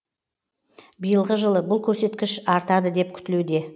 биылғы жылы бұл көрсеткіш артады деп күтілуде